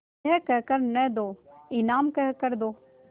यह कह कर न दो इनाम कह कर दो